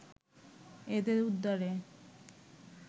এদের উদ্ধারে